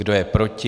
Kdo je proti?